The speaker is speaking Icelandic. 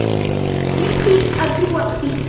Ég kýs að trúa því.